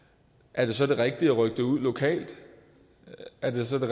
er det så det rigtige at rykke det ud lokalt er det så det